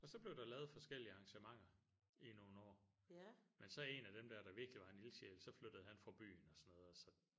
Og så blev der lavet forskellige arrangementer i nogle år men så en af dem der der virkelig var en ildsjæl så flyttede han fra byen og sådan noget og så